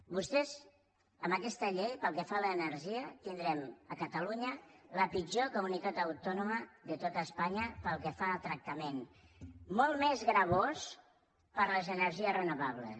vostès amb aquesta llei pel que fa a l’energia tindrem a catalunya la pitjor comunitat autònoma de tot espanya pel que fa al tractament molt més gravós per a les energies renovables